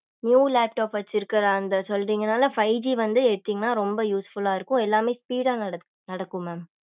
low laptop வச்சிருக்க அந்த சொல்றீங்கனால five G வந்து எடுத்தீங்கனா ரொம்ப usefull லா இருக்கும் எல்லாமே speed டா நடக்கும் mam